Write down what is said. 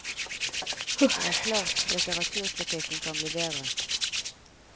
Det er klart litteraturkritikken kan bli bedre.